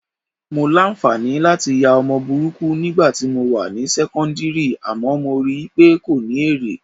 Mo láǹfààní láti ya ọmọ burúkú nígbà tí mo wà ní sẹ́kọ́ńdìrì àmọ́ mo rí i pé kò ní èrè